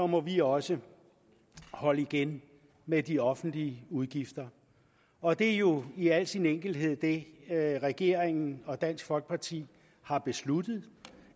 må vi også holde igen med de offentlige udgifter og det er jo i al sin enkelhed det regeringen og dansk folkeparti har besluttet